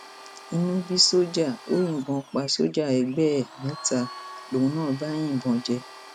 inú bí sójà ò yìnbọn pa sójà ẹgbẹ ẹ mẹta lòun náà bá yìnbọn jẹ